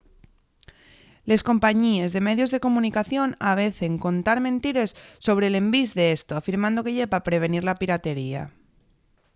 les compañíes de medios de comunicación avecen contar mentires sobre l’envís d’esto afirmando que ye pa prevenir la piratería